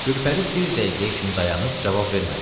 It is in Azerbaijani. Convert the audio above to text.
Gülpəri bir dəqiqəyə kimi dayanıb cavab vermədi.